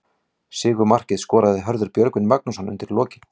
Sigurmarkið skoraði Hörður Björgvin Magnússon undir lokin.